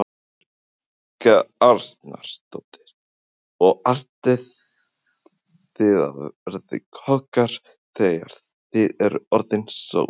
Helga Arnardóttir: Og ætlið þið að verða kokkar þegar þið eruð orðnir stórir?